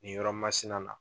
Nin yɔrɔ masina